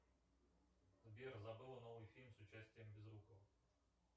сбер забыла новый фильм с участием безрукова